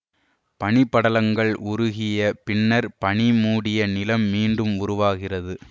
பனி படலங்கள் உருகிய பின்னர் பனி மூடிய நிலம் மீண்டும் உருவாகிறது